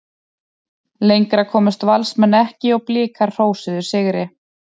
Lengra komust Valsmenn ekki og Blikar hrósuðu sigri.